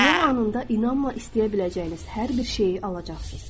Dua anında inanla istəyə biləcəyiniz hər bir şeyi alacaqsız.